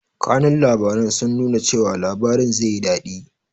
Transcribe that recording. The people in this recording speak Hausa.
Kanun labaran sun nuna cewa labarin zeyi daɗi